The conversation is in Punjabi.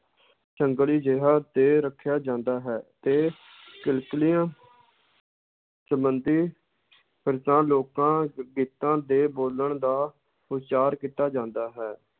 ਸੰਗਲੀ ਜਿਹਾ 'ਤੇ ਰੱਖਿਆ ਜਾਂਦਾ ਹੈ ਤੇ ਕਿੱਕਲੀਆਂ ਸੰਬੰਧੀ ਲੋਕਾਂ ਗੀਤਾਂ ਦੇ ਬੋਲਣ ਦਾ ਉਚਾਰ ਕੀਤਾ ਜਾਂਦਾ ਹੈ।